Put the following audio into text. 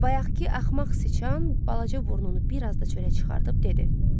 Bayaqkı axmaq siçan balaca burnunu biraz da çölə çıxardıb dedi: